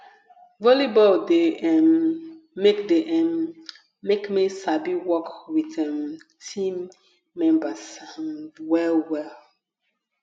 volleyball de um make de um make me sabi work with um team members um well well